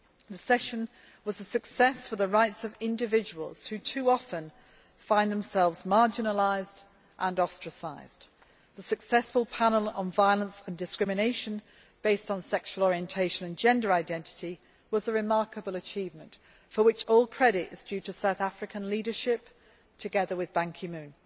The session was a success for the rights of individuals, who too often find themselves marginalised and ostracised. The successful panel on Violence and Discrimination based on Sexual Orientation and Gender Identity' was a remarkable achievement, for which all credit is due to South Africa's leadership, together with Ban Ki moon.